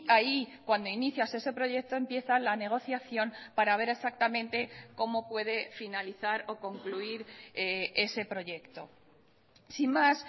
ahí cuando inicias ese proyecto empieza la negociación para ver exactamente cómo puede finalizar o concluir ese proyecto sin más